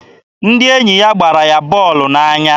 Ndị enyi ya gbara ya bọọlụ n'anya.